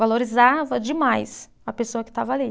Valorizava demais a pessoa que estava ali.